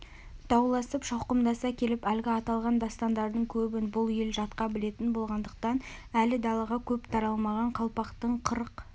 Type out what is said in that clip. дауласып шауқымдаса келіп әлгі аталған дастандардың көбін бұл ел жатқа білетін болғандықтан әлі далаға көп таралмаған қалпақтың қырық